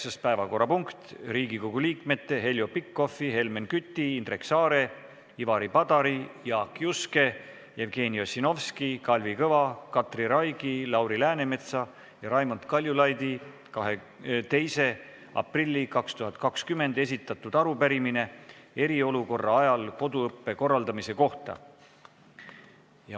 Üheksas päevakorrapunkt on Riigikogu liikmete Heljo Pikhofi, Helmen Küti, Indrek Saare, Ivari Padari, Jaak Juske, Jevgeni Ossinovski, Kalvi Kõva, Katri Raigi, Lauri Läänemetsa ja Raimond Kaljulaidi 2. aprillil 2020 esitatud arupärimine eriolukorra ajal koduõppe korraldamise kohta.